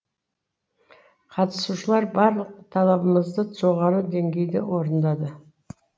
қатысушылар барлық талабымызды жоғары деңгейде орындады